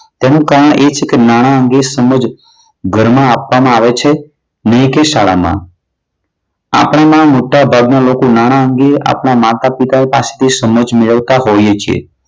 તેનું કારણ એ છે કે નાણાં અંગે સમજ ઘરમાં આપવામાં આવે છે નહીં કે શાળામાં. આપણીમાં મોટાભાગના લોકોમાં નાણાં અંગે આપણા માતા-પિતા પાસે સમજ મેળવતા હોય છે.